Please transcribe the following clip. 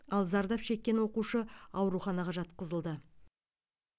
ал зардап шеккен оқушы ауруханаға жатқызылды